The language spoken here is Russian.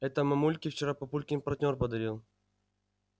это мамульке вчера папулькин партнёр подарил